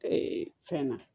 fɛn na